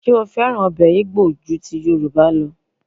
Ṣé ó fẹ́ràn ọbẹ̀ Igbo ju Yorùbá lọ?